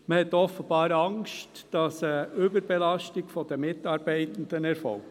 Man hat offenbar Angst, dass eine Überbelastung der Mitarbeitenden erfolgt.